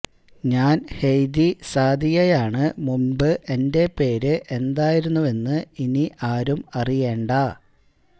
ഞാന് ഹെയ്ദി സാദിയയാണ് മുന്പ് എന്റെ പേര് എന്തായിരുന്നുവെന്ന് ഇനി ആരും അറിയേണ്ട